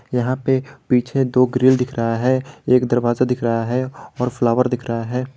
यहां पे पीछे दो ग्रिल दिख रहा है एक दरवाजा दिख रहा है और फ्लावर दिख रहा है।